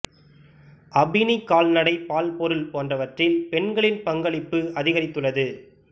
அபினி கால்நடை பால் பொருள் போன்றவற்றில் பெண்களின் பங்களிப்பு அதிகரித்துள்ளது